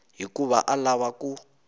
hikuva a a lava ku